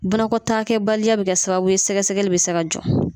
Banakɔtaakɛbaliya bɛ kɛ ka sababu sɛgɛsɛgɛli bɛ se ka jɔ.